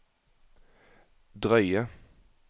drøye